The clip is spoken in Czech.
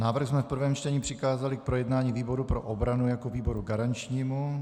Návrh jsme v prvém čtení přikázali k projednání výboru pro obranu jako výboru garančnímu.